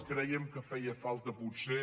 crèiem que feia falta potser